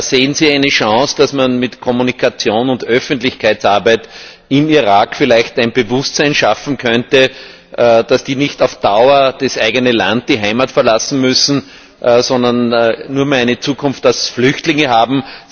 Sehen Sie eine Chance, dass man mit Kommunikation und Öffentlichkeitsarbeit im Irak vielleicht ein Bewusstsein schaffen könnte, dass die nicht auf Dauer das eigene Land, die Heimat, verlassen müssen und nur mehr eine Zukunft als Flüchtlinge haben?